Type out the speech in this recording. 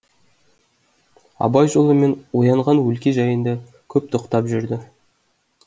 абай жолы мен оянған өлке жайына көп тоқтап жүрді